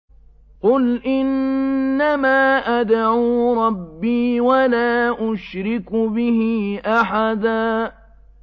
قُلْ إِنَّمَا أَدْعُو رَبِّي وَلَا أُشْرِكُ بِهِ أَحَدًا